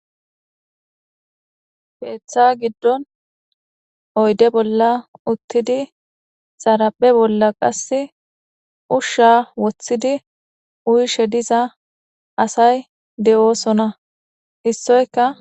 Keeththa giddon oyde bolla uttidi zaraphe bolla qas ushsha woththidi uyishe diza asay de7oosona issoyka.